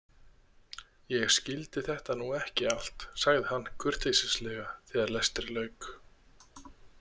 Ég skildi þetta nú ekki allt, sagði hann kurteislega þegar lestri lauk.